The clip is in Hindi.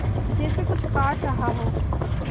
जैसे कुछ काट रहा हो